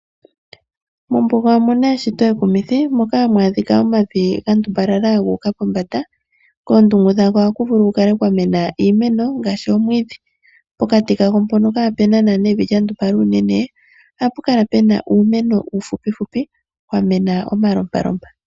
Mombuga omuna eshito ekumithi moka hamu adhika omavi gandumbalala gu uka pombanda kondungu gadho ohaku vulu okukala kwamena iimeno ngaashi omwidhi ,pokati kadho mpoka kaa puna nana evi lyandumbala unene ohapu kala pena uumeno uufupi fupi wamena omalompalompa.